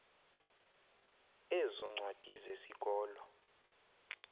ezo ncwadi zesikolo